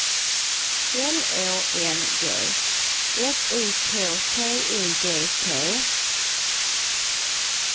L Å N G S I K T I G T